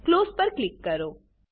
close પર click કરો